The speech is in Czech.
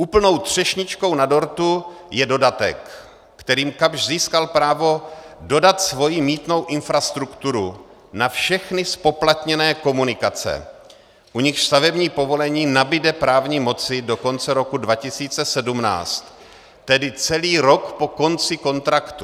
Úplnou třešničkou na dortu je dodatek, kterým Kapsch získal právo dodat svoji mýtnou infrastrukturu na všechny zpoplatněné komunikace, u nichž stavební povolení nabude právní moci do konce roku 2017, tedy celý rok po konci kontraktu.